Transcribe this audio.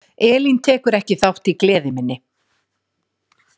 Elín tekur ekki þátt í gleði minni.